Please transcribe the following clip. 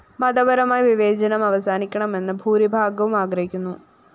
മതപരമായ വിവേചനം അവസാനിക്കണമെന്ന് ഭൂരിഭാഗവും ആഗ്രഹിക്കുന്നു